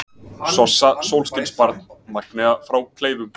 Sossa sólskinsbarn, Magnea frá Kleifum